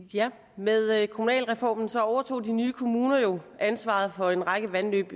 med kommunalreformen overtog de nye kommuner jo ansvaret for en række vandløb